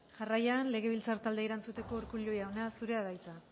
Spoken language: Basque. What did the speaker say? jarraian legebiltzar taldeei erantzuteko urkullu jauna zurea da hitza